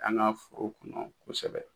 An ka foro kɔnɔ kosɛbɛ.